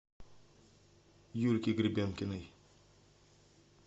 юльке гребенкиной